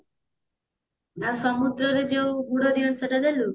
ଆଉ ସମୁଦ୍ରରେ ଯୋଉ ବୁଡ ନିଅନ୍ତି ସେଟା ନେଲୁ